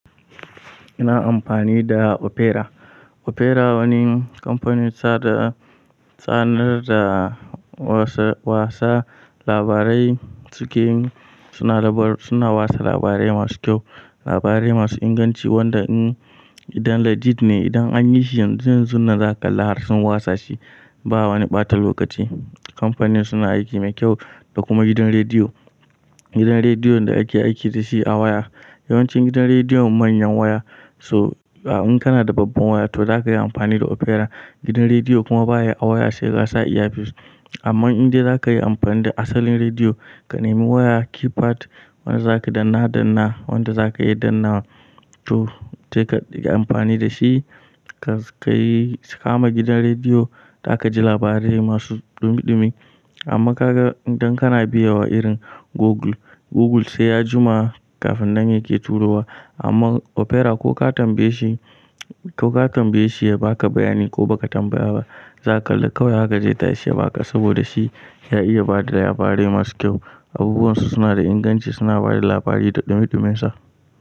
Ina amfani da Opera. Opera wani kamfanin sada tsanar da wase wasa labarai, suke suna labar suna wasa labarai masu kyau, labarai masu inganci wanda in idan legit ne idan anyi shi yanzu yanzu nan zaka kalla harsun wasa shi ba wani ɓata lokaci. Kamfanin suna aiki mai kyau da kuma gidan rediyo. Gidan rediyon da ake aiki dashi a waya. Yawancin gidan rediyo manyan waya so in kana da babban waya to zakayi amfani da Opera. Gidan rediyo kuma baya a waya sai kasa iya fis. Amma idan zakayi amfani da asalin rediyo, ka nemi waya keypad wanda zaka danna danna, wanda zakayi dannawa to te ka yi amfani da shi kas kai kama gidan rediyo, zaka ji labarai masu dumi dumi. Amma kaga idan kana biya wa irin Google, Google sai ya jima kafin nan yake turo wa amma Opera ko ka tambaye shi ko ka tambaye shi ya ba ka bayani ko baka tambaya ba zaka kalla kawai haka zai tashi ya baka saboda shi ya iya bada labarai masu kyau. Abubuwan su suna da inganci suna bada labarai da dumi dumin sa.